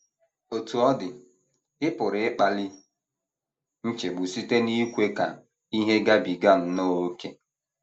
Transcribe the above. Otú ọ dị, ị pụrụ ịkpali nchegbu site n’ikwe ka ihe gabiga nnọọ ókè.